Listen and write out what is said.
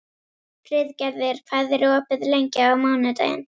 Friðgerður, hvað er opið lengi á mánudaginn?